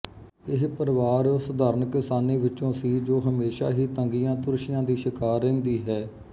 ਇਹ ਪਰਿਵਾਰ ਸਧਾਰਨ ਕਿਸਾਨੀ ਵਿਚੋਂ ਸੀ ਜੋ ਹਮੇਸ਼ਾ ਹੀ ਤੰਗੀਆਂਤੁਰਸ਼ੀਆਂ ਦੀ ਸ਼ਿਕਾਰ ਰਹਿੰਦੀ ਹੈ